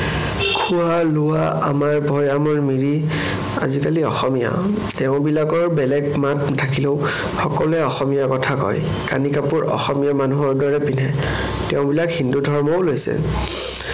খোৱা লোৱা, আমাৰ ভৈয়ামৰ মিৰি আজিকালি অসমীয়া। তেওঁবিলাকৰ বেলেগ মাত থাকিলেও সকলোৱে অসমীয়া কথা কয়। কানি কাপোৰ অসমীয়া মানুহৰ দৰে পিন্ধে। তেওঁবিলাক হিন্দু ধৰ্মও লৈছে।